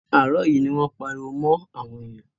Àárọ̀ yìí ni wọ́n ń pariwo mọ́ àwọn èyàn.